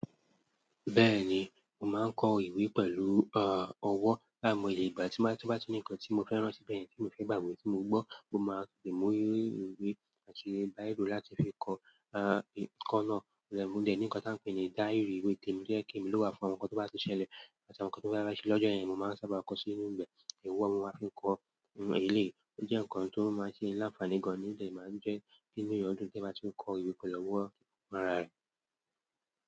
Bẹ́ẹ̀ni, mo máa ń kọ ìwé pẹ̀lú ọ̀wọ́. Bí mo lè gbà tí mo bá ti ní ǹkan tí mo fẹ́ rántí, bẹ́ẹ̀ ni kí n lè fẹ́ gbàgbé tí mo gbọ́, mo máa tẹ̀mọ́ ìwé àti bírò láti fi kọ ẹ̀kọ́ náà. Ọ̀pọ̀lọpọ̀ ńkan tí a ń pè ní díírì ìwé tẹ̀mọ́ díẹ̀ kí èmi ló wà fún àwọn ǹkan tí wọ́n bá ti ṣẹlẹ̀ àti àwọn ǹkan tí wọ́n bá rí lọ́jọ́ èèyàn, mo máa ń sábà kọ sí inú ibẹ̀. Ẹ̀wọ̀ máa ń fi kọ ilé. Ó jẹ́ ǹkan tó máa ń ṣe ìlàǹfààní gan-an nígbà tí mo bá ń jẹ́ nínú ìyọdún tí a bá ti ń kọ ìwé pẹ̀lú ọ̀wọ́.